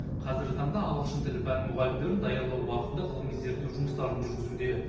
қазіргі таңда ағылшын тілі пәні мұғалімдерін даярлау бағытында ғылыми зерттеу жұмыстарын жүргізуде